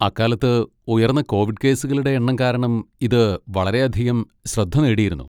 അക്കാലത്ത് ഉയർന്ന കോവിഡ് കേസുകളുടെ എണ്ണം കാരണം ഇത് വളരെയധികം ശ്രദ്ധ നേടിയിരുന്നു.